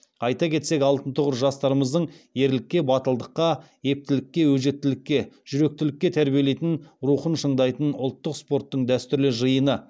айта кетсек алтын тұғыр жастарымызды ерлікке батылдыққа ептілікке өжеттікке жүректілікке тәрбиелейтін рухын шыңдайтын ұлттық спорттың дәстүрлі жиыны